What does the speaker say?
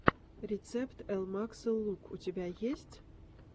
рецепт элмаксэл лук у тебя есть